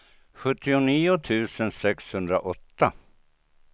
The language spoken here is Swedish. sjuttionio tusen sexhundraåtta